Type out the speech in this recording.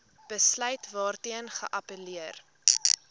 besluit waarteen geappelleer